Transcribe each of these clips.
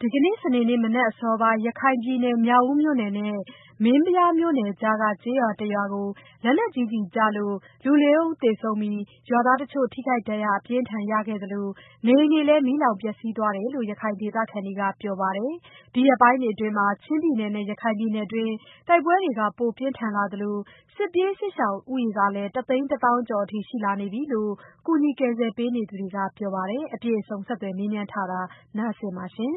ဒီကနေ့ စနေနေ့မနက်အစောပိုင်း ရခိုင်ပြည်နယ် မြောက်ဦးမြို့နယ်နဲ့ မင်းပြားမြို့နယ်ကြားက ကျေးရွာတရွာကို လက်နက်ကြီးကျည်ကျလို့ လူ ၄ ဦးသေဆုံးပြီး ရွာသားတချို့ ထိခိုက်ဒဏ်ရာ အပြင်းအထန် ရသလို နေအိမ်တွေလည်း မီးလောင်ပျက်စီးသွားတယ်လို့ ရခိုင်ဒေသခံတွေက ပြောပါတယ်။ ဒီရက်ပိုင်းတွေအတွင်း ချင်းပြည်နယ်နဲ့ ရခိုင်ပြည်နယ်တွင်း တိုက်ပွဲတွေ ပိုပြင်းထန်လာသလို စစ်ပြေးစစ်ရှောင်ဦးရေကလည်း တသိန်းတသောင်းကျော်အထိ ရှိလာနေပြီလို့ ကူညီကယ်ဆယ်ပေးနေသူတွေက ပြောပါတယ်။ အပြည့်အစုံကို မဆုမွန် ဆက်သွယ်မေးမြန်း တင်ပြထားပါတယ်။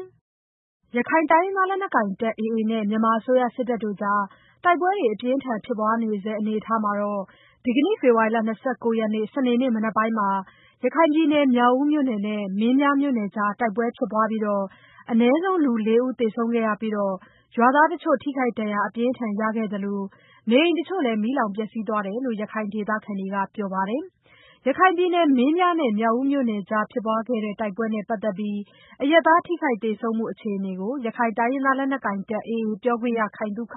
ရခိုင်တိုင်းရင်းသားလက်နက်ကိုင်တပ် AA နဲ့ မြန်မာအစိုးရ စစ်တပ်တို့ကြား တိုက်ပွဲတွေ အပြင်းအထန် ဖြစ်ပွားနေဆဲ အနေအထားမှာတော့ ဒီကနေ့ ဖေဖော်ဝါရီလ ၂၉ ရက်နေ့ စနေနေ့မနက်ပိုင်းမှာ ရခိုင်ပြည်နယ် မြောက်ဦးမြို့နယ်နဲ့ မင်းပြားမြို့နယ်ကြား တိုက်ပွဲဖြစ်ပွားပြီး အနည်းဆုံး လူ ၄ ဦး သေဆုံးခဲ့ရပြီး ရွာသားတချို့ ထိခိုက်ဒဏ်ရာ အပြင်းအထန် ရခဲ့သလို နေအိမ်တချို့လည်း မီးလောင်ပျက်စီးသွားတယ်လို့ ရခိုင်ဒေသခံတွေက ပြောပါတယ်။ ရခိုင်ပြည်နယ် မင်းပြားနဲ့ မြောက်ဦးမြို့နယ်ကြား ဖြစ်ပွားခဲ့တဲ့ တိုက်ပွဲနဲ့ပတ်သက်ပြီး အရပ်သား ထိခိုက်သေဆုံးမှု အခြေအနေကို ရခိုင်တိုင်းရင်းသားလက်နက်ကိုင်တပ် AA ပြောခွင့်ရ ခိုင်သုခက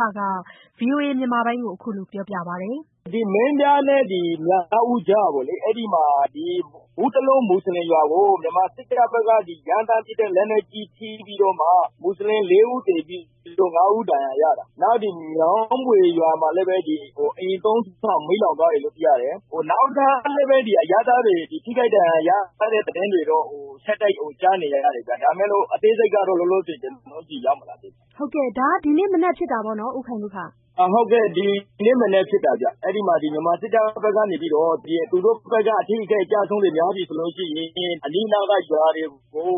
ဗွီအိုအေမြန်မာပိုင်းကို အခုလိုပြောပါတယ်။ “မင်းပြားနဲ့ မြောက်ဦးကြား ဘူးတလုံး မွတ်စလင်ရွာကို မြန်မာစစ်တပ်ဘက်က ရမ်းသန်းပစ်တဲ့ လက်နက်ကြီး ထိပြီးတော့ မွတ်စလင် လေးဦးသေပြီး ငါးဦး ဒဏ်ရာရတာ။ မြောင်းဘွေရွာမှာလည်း အိမ်သုံးလုံး မီးလောင်သွားတယ်လို့ သိရတယ်။ နောက်ထပ် အရပ်သားတွေ ထိခိုက် ဒဏ်ရာရတဲ့ သတင်းတွေတော့ ဆက်တိုက် ကြားနေရတယ်။ ဒါပေမယ့် အသေးစိတ်ကတော့ လောလောဆယ် ကျနော်တို့ဆီ ရောက်မလာသေးဘူး။” မဆုမွန် - ဒါက ဒီနေ့မနက်ဖြစ်တာပေါ့နော် ဦးခိုင်သုခ။ ခိုင်သုခ - “ဟုတ်ကဲ့၊ ဒီနေ့မနက်ဖြစ်တာဗျ။ အဲဒီမှာ မြန်မာစစ်တပ်ဘက်က သူတို့ အထိအခိုက် အကျအဆုံးတွေ များပြီဆိုရင် အနီးနားက ရွာတွေကို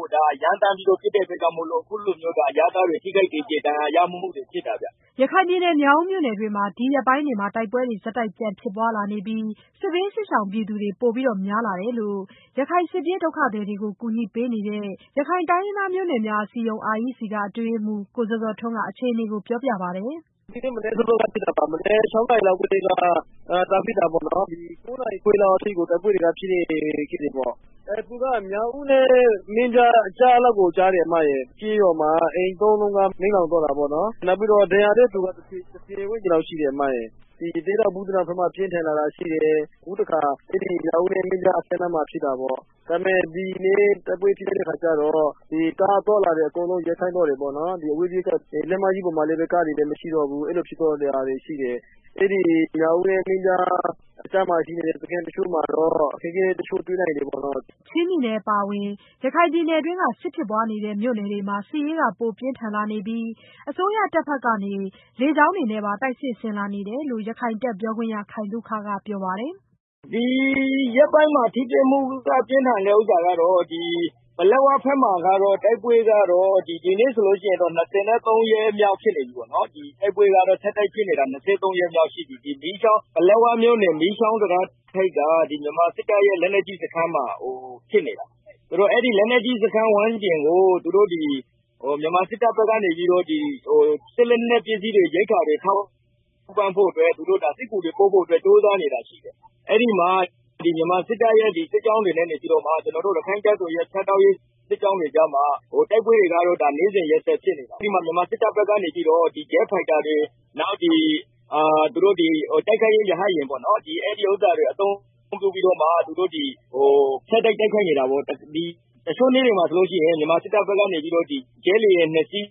ရမ်းသန်းပြီး ပစ်တဲ့အတွက် အခုလို အရပ်သားတွေ ထိခိုက်သေကျေ ဒဏ်ရာရမှုတွေ ဖြစ်တာဗျ။” ရခိုင်ပြည်နယ် မြောက်ဦးမြို့နယ်တွင်း ဒီရက်ပိုင်းတွေမှာ တိုက်ပွဲတွေ ဆက်တိုက် ပြန်ဖြစ်ပွားလာနေပြီး စစ်ပြေးစစ်ရှောင်ပြည်သူတွေ ပိုများလာတယ်လို့ ရခိုင်စစ်ပြေးဒုက္ခသည်တွေကို ကူညီပေးနေတဲ့ ရခိုင်တိုင်းရင်းသားမျိုးနွယ်များ အစည်းအရုံး က အတွင်းရေးမှူး ကိုဇော်ဇော်ထွန်းကလည်း အခြေအနေ ပြောပြပါတယ်။ “ဒီနေ့မနက် ၆ နာရီလောက်ကတည်းက စဖြစ်တာ။ ၉ နာရီခွဲလောက်ထိကို တိုက်ပွဲတွေက ဖြစ်တယ်။ သူက မြောက်ဦးနဲ့ မင်းပြားကြားလောက်ကို ကျတယ်။ ကျေးရွာမှာ အိမ်သုံးလုံးက မီးလောင်သွားတယ်။ ပြီးတော့ ဒဏ်ရာရတဲ့သူ တဆယ်ဝန်းကျင်လောက် ရှိတယ်။ ရသေ့တောင်၊ ဘူးသီးတောင် ဒေသဘက်မှာ ပြင်းထန်လာတာ ရှိတယ်။ အခုတခါ မြောက်ဦးနဲ့ မင်းပြားကြားမှာ ဖြစ်တာပေါ့။ ဒီနေ့ တိုက်ပွဲဖြစ်တဲ့အခါကျတော့ ကားအသွားအလာတွေ အကုန်လုံး ရပ်ဆိုင်းသွားတယ်။ အဝေးပြေးလမ်းမကြီးပေါ်မှာလည်း ကားတွေ မရှိတော့ဘူး။ အဲ့လိုတွေဖြစ်သွားတယ်။ မြောက်ဦးနဲ့ မင်းပြား အကြားမှာရှိတဲ့ စခန်းတချို့မှာတော့ အခက်အခဲတချို့ တွေ့နိုင်တယ်။” ချင်းပြည်နယ်အပါအဝင် ရခိုင်ပြည်နယ်တွင်းက စစ်ဖြစ်ပွားနေတဲ့ မြို့နယ်တွေမှာ စစ်ရေးက ပိုပြင်းထန်လာနေပြီး အစိုးရတပ်ဘက်က လေကြောင်းတွေနဲ့ပါ တိုက်စစ်ဆင်လာနေတယ်လို့ ရခိုင်တပ်ပြောခွင့်ရ ခိုင်သုခက ပြောပါတယ်။ “ဒီရက်ပိုင်း ထိတွေ့မှု ပြင်းထန်တဲ့ဟာကတော့ ပလက်ဝဘက်မှာ တိုက်ပွဲက ဒီနေ့ဆို တိုက်ပွဲ ဆက်တိုက်ဖြစ်နေတာ ၂၃ ရက်မြောက်ရှိပြီ။ ပလက်ဝမြို့နယ် မီးကျောင်းတံတားထိပ်က မြန်မာစစ်တပ်ရဲ့ လက်နက်ကြီးစခန်းမှာ ဖြစ်နေတာ။ အဲဒီလက်နက်ကြီးစခန်း ဝန်းကျင်ကို မြန်မာစစ်တပ်ဘက်ကနေ စစ်လက်နက်ပစ္စည်းတွေ ရိက္ခာတွေ ထောက်ပံ့ဖို့အတွက် သူတို့ စစ်ကူတွေပို့ဖို့ ကြိုးစားနေတာရှိတယ်။ အဲဒီမှာ မြန်မာစစ်တပ်ရဲ့ စစ်ကြောင်းတွေနဲ့ ရခိုင့်တပ်တော်ရဲ့ ဖြတ်တောက်ရေး စစ်ကြောင်းတွေကြားမှာ တိုက်ပွဲတွေက နေ့စဉ်ရက်ဆက် ဖြစ်နေတာ။ အဲဒီမှာ မြန်မာစစ်တပ်ဘက်က Jet Fighter တွေ တိုက်ခိုက်ရေး ရဟတ်ယာဉ်တွေ အသုံးပြုပြီး ဆက်တိုက် တိုက်ခိုက်နေတာပေါ့။ တချို့နေ့တွေမှာဆိုရင် မြန်မာစစ်တပ်ဘက်က ဂျက်လေယာဉ်နှစ်စီး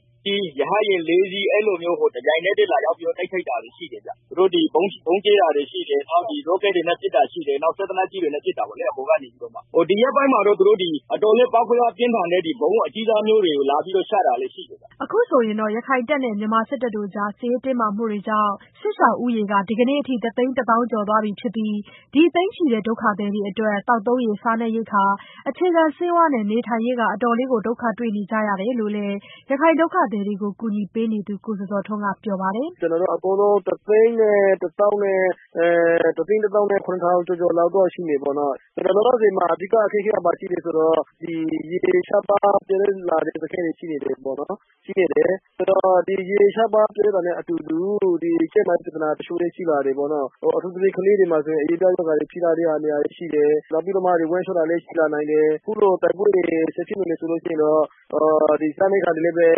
ရဟတ်ယာဉ် လေးစီး အဲလိုမျိုး တပြိုင်နက်တည်း လာတိုက်ခိုက်တာတွေ ရှိတယ်။ ဗုံးကြဲတာတွေ ရှိတယ်။ Rocket တွေနဲ့ ပစ်တာရှိတယ်။ စက်သေနတ်ကြီးတွေနဲ့ ပစ်တယ် အပေါ်ကနေ။ ဒီရက်ပိုင်းမှာတော့ အတော်လေး ပေါက်ကွဲအား ပြင်းထန်တဲ့ ဗုံးအကြီးစားမျိုးတွေ လာပြီးတော့ ချတာလည်း ရှိတယ်။” အခုဆိုရင်တော့ ရခိုင်တပ်နဲ့ စစ်တပ်တို့ကြား စစ်ရေးတင်းမာမှုတွေကြောင့် စစ်ရှောင်ဦးရေက ဒီကနေ့အထိ တသိန်းတသောင်းကျော်သွားပြီဖြစ်ပြီး ဒီ သိန်းချီတဲ့ ဒုက္ခသည်တွေအတွက် သောက်သုံးရေ၊ စားနပ်ရိက္ခာ၊ အခြေခံဆေးဝါးနဲ့ နေထိုင်ရေး အတော်လေးကို ဒုက္ခတွေ့နေကြရတယ်လို့လည်း ရခိုင်ဒုက္ခသည်တွေကို ကူညီပေးနေသူ ကိုဇော်ဇော်ထွန်းက ပြောပါတယ်။ “အကုန်လုံး တသိန်း တသောင်းနဲ့ ခုနှစ်ထောင် ကျော်ကျော်လောက်တော့ ရှိနေပြီ။ လောလောဆယ် အဓိက အခက်အခဲက ဘာရှိလဲဆိုတော့ ရေရှားပါးလာတဲ့ စခန်းတွေ ရှိနေတယ်။ ဆိုတော့ ရေရှားပါးလာတာနဲ့အတူ ကျန်းမာရေးပြဿနာတချို့လည်း ရှိလာတယ်။ အထူးသဖြင့် ကလေးတွေမှာ အရေပြားရောဂါတွေ ဖြစ်လာတာရှိတယ်။ ပြီးတော့ ဝမ်းလျှောတာတွေလည်း ရှိလာနိုင်တယ်။ အခုလို တိုက်ပွဲတွေ ဆက်ဖြစ်နေမယ် ဆိုရင်တော့ စားနပ်ရိက္ခာတွေလည်း လိုအ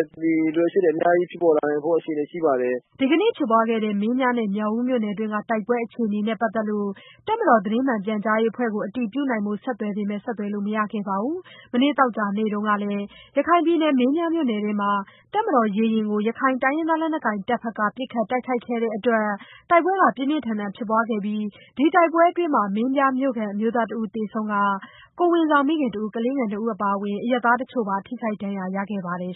ပ်ချက် အများကြီး ဖြစ်ပေါ်လာနိုင်ဖို့ အခြေအနေ ရှိပါတယ်။” ဒီကနေ့ဖြစ်ပွားတဲ့ မင်းပြားနဲ့ မြောက်ဦးမြို့နယ်တွင်းက တိုက်ပွဲအခြေအနေနဲ့ ပတ်သက်လို့ တပ်မတော် သတင်းမှန်ပြန်ကြားရေးအဖွဲ့ကို အတည်ပြုနိုင်ဖို့ ဆက်သွယ်ပေမယ့် ဆက်သွယ်လို့ မရခဲ့ပါဘူး။ မနေ့ သောကြာနေ့ကလည်း ရခိုင်ပြည်နယ်၊ မင်းပြားမြို့နယ်တွင်းမှာ တပ်မတော်ရေယာဉ်ကို ရခိုင်လက်နက်ကိုင်အဖွဲ့ AA က ပစ်ခတ်တိုက်ခိုက်ခဲ့တဲ့အတွက် တိုက်ပွဲ ပြင်းပြင်းထန်ထန် ဖြစ်ပွားခဲ့ပြီး ဒီတိုက်ပွဲတွင်း မင်းပြားမြို့ခံ အမျိုးသားတဦး သေဆုံးပြီး ကိုယ်ဝန်ဆောင်မိခင်တဦး၊ ကလေးငယ်နှစ်ဦး အပါအဝင် အရပ်သားတချို့ ဒဏ်ရာရခဲ့ပါတယ်